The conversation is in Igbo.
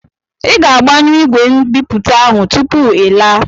I ga-agbanyụ ìgwè mbipụta ahụ tupu ị laa!